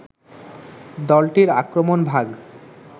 দলটির আক্রমণভাগ